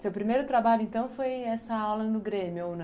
Seu primeiro trabalho, então, foi essa aula no Grêmio? ou